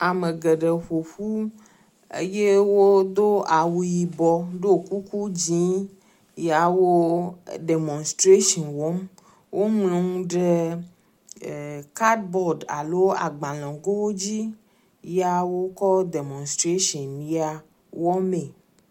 Ame geɖe ƒoƒu eye wodo awu yibɔ ɖo kuku dzɛ̃ yaw o ɖemostratsin wɔm. Woŋlɔ nu ɖe kadbɔd alo agbalẽ gowo dzi ya wokɔ ɖemostratsin ya wɔmee.